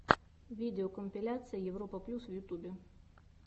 видеокомпиляция европа плюс в ютубе